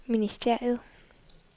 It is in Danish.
ministeriet